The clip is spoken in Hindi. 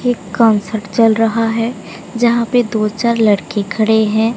एक कॉन्सर्ट चल रहा है जहां पे दो चार लड़के खड़े हैं।